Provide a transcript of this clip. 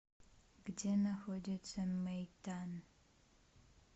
где находится мейтан